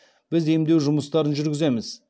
біз емдеу жұмыстарын жүргіземіз